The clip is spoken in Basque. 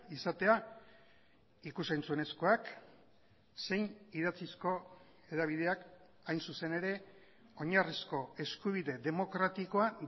izatea ikus entzunezkoak zein idatzizko hedabideak hain zuzen ere oinarrizko eskubide demokratikoa